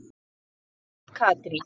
Og þar sat Katrín.